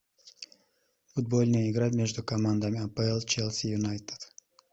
футбольная игра между командами апл челси юнайтед